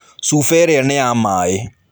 Cuba ĩrĩa nĩ ya maĩ.